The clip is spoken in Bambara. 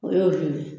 O y'o ye